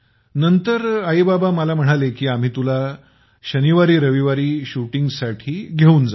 नंतर mummy papa मला म्हणाले की आम्ही तुला शनिवारी रविवारी शुटिंगसाठी घेऊन जात जाऊ